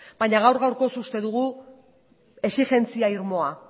baina gaur gaurkoz uste dugu exigentzia irmoa